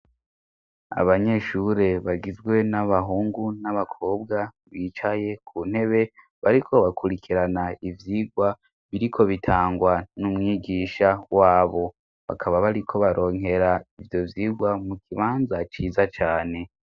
Abanyeshure bagizwe n'abahungu n'abakobwa bicaye ku ntebe bariko bakurikirana ivyigwa biriko bitangwa n'umwigisha w'abo bakaba bariko baronkera ibyo vyigwa mu kibanza ciza cane.